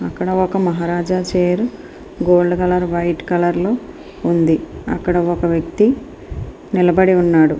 ఇక్కడ ఒక maharaja chair gold colour white colour లో ఉంది. అక్కడే ఒక వ్యక్తి నిలబడి ఉన్నాడు.